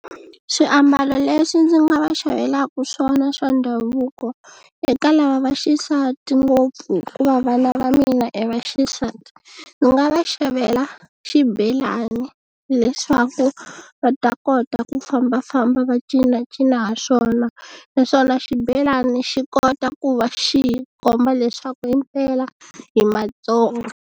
Swiambalo leswi ndzi nga va xavelaku swona swa ndhavuko eka lava va xisati ngopfu hikuva vana va mina i va xisati ni nga va xavela xibelani hileswaku va ta kota ku fambafamba va cinacina ha swona naswona xibelani xi kota ku va xi hi komba leswaku hi mpela hi Matsonga